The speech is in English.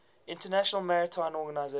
international maritime organization